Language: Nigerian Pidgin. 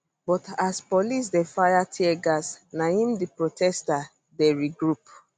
but as police dey fire teargas na im di protesters dey regroup